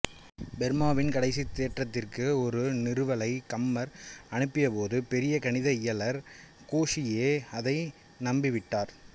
ஃபெர்மாவின் கடைசித் தேற்றத்திற்கு ஒரு நிறுவலை கம்மர் அனுப்பியபோது பெரிய கணித இயலர் கோஷியே அதை நம்பிவிட்டார்